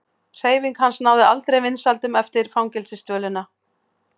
Hreyfing hans náði aldrei vinsældum eftir fangelsisdvölina.